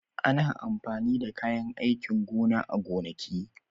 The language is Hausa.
Ana amfani da kayan aikin gona a gonaki.